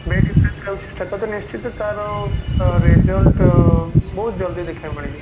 bad impact ହଉଛି ସେଟା ତ ନିଶ୍ଚିନ୍ତ ତାର result ବହୁତ ଜଲଦି ଦେଖିବାକୁ ମିଳିଯିବ